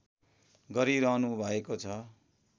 गरिरहनुभएको छ